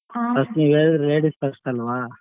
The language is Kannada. ನೀವ್ ಹೇಳ್ರಿ ladies first ಅಲ್ವಾ.